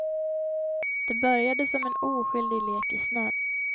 Det började som en oskyldig lek i snön.